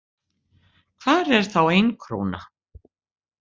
Hvar er þá ein króna?